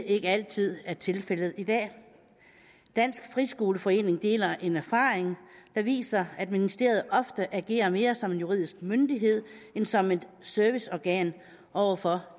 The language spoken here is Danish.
ikke altid er tilfældet i dag i dansk friskoleforening deler man en erfaring der viser at ministeriet ofte agerer mere som en juridisk myndighed end som et serviceorgan over for